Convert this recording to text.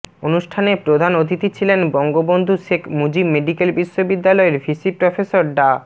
অনুষ্ঠানে প্রধান অতিথি ছিলেন বঙ্গবন্ধু শেখ মুজিব মেডিকেল বিশ্ববিদ্যালয়ের ভিসি প্রফেসর ডা